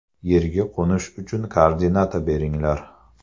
Yerga qo‘nish uchun koordinata beringlar!